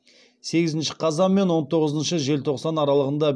сегізінші қазан мен он тоғызыншы желтоқсан аралығында